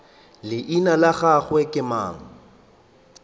leina la gagwe ke mang